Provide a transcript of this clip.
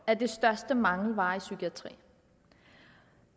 er den største mangelvare i psykiatrien